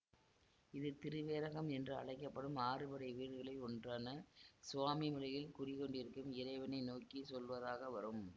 இது திருவேரகம் என்று அழைக்க படும் ஆறுபடை வீடுகளில் ஒன்றான சுவாமிமலையில் குடிகொண்டிருக்கும் இறைவனை நோக்கி சொல்வதாக வரும்